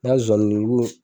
N ka nzozani